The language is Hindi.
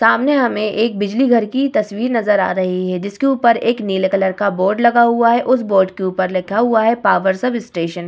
सामने हमें एक बिजली घर की तस्वीर नजर आ रही है जिसके ऊपर एक नीले कलर का बोर्ड लगा हुआ है उस बोर्ड के ऊपर लिखा हुआ है पावर सबस्टेशन --